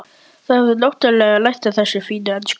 Þá hefurðu náttúrlega lært þessa fínu ensku!